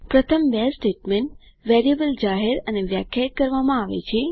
પ્રથમ બે statement variable જાહેર અને વ્યાખ્યાયિત કરવામાં આવે છે